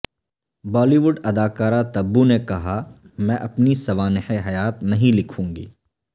بالی would اداکارہ تبو نے کہا میں اپنی سوانح حیات نہیں لکھوں گی